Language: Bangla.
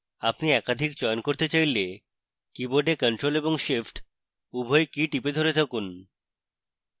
আপনি একাধিক চয়ন করতে চাইলে; কীবোর্ডে ctrl এবং shift উভয় key টিপে ধরে থাকুন